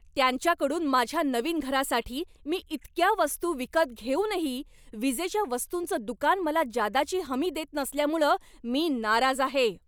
त्यांच्याकडून माझ्या नवीन घरासाठी मी इतक्या वस्तू विकत घेऊनही विजेच्या वस्तुंचं दुकान मला जादाची हमी देत नसल्यामुळं मी नाराज आहे.